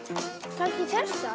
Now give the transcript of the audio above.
kannski þessa